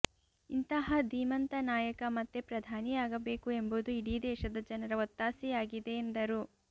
ಇಂತಹ ಧೀಮಂತ ನಾಯಕ ಮತ್ತೆ ಪ್ರಧಾನಿಯಾಗಬೇಕು ಎಂಬುದು ಇಡೀ ದೇಶದ ಜನರ ಒತ್ತಾಸೆಯಾಗಿದೆ ಎಂದರು